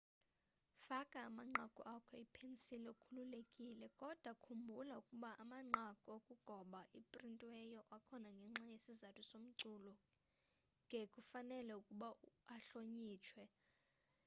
faka amanqaku akho ipensili ukhululekile kodwa khumbula ukuba amanqaku okugoba aprintiweyo akhona ngenxa yesizathu somculo ke kufanele ukuba ahlonitshwe